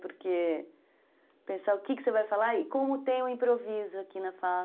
Porque pensar o que você vai falar e como tem o improviso aqui na fala.